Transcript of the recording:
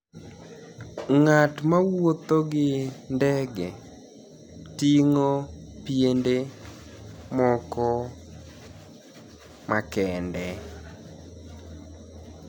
nig'at mawuotho gi nidege tinig'o pienide moko makenide